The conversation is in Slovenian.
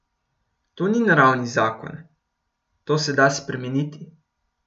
To ni naravni zakon, to se da spremeniti.